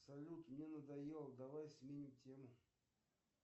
салют мне надоело давай сменим тему